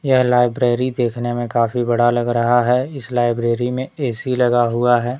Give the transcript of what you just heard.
यह लाइब्रेरी देखने में काफी बड़ा लग रहा है इस लाइब्रेरी में ए_सी लगा हुआ है।